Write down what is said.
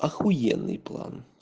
ахуенный план